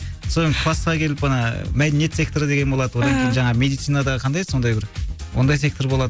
класка келіп ана мәдениет секторы деген болады одан кейін жаңағы медицина да қандай еді сондай бір ондай сектор болады